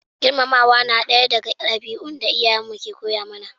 Girmamawa na daya daga dabi'un da iyayen mu ke koya mana